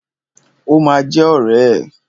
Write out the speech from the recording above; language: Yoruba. Ó ma jẹ́ ọ̀rẹ́ ẹ̀.